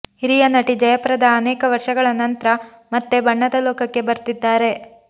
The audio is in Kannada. ಹಿರಿಯ ನಟಿ ಜಯಪ್ರದಾ ಅನೇಕ ವರ್ಷಗಳ ನಂತ್ರ ಮತ್ತೆ ಬಣ್ಣದ ಲೋಕಕ್ಕೆ ಬರ್ತಿದ್ದಾರೆ